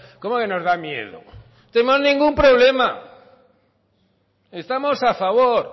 cómo que nos da miedo no tengo ningún problema estamos a favor